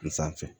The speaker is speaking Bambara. N sanfɛ